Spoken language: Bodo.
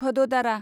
भद'दारा